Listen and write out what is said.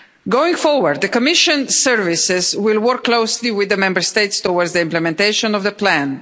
Going forward, the Commission services will work closely with the Member States towards the implementation of the plan.